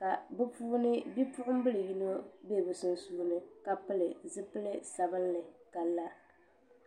ka bi puuni bipuɣunbili yino bɛ bi sunsuuni ka pili zipili sabinli ka la